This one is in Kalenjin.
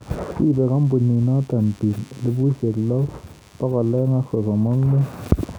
Ribe kambiinoto biik 6235